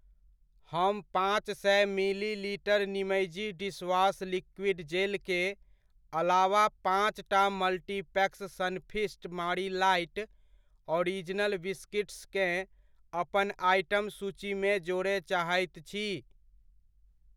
हम पाँच सए मिलीलीटर निमइजी डिशवॉश लिक्विड जेल के अलावा पाँचटा multipacks Sunfeast Marie light original biscuits केँ अपन आइटम सूचीमे जोड़य चाहैत छी।